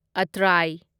ꯑꯇ꯭ꯔꯥꯢ